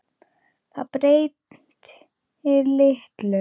Það breyti litlu.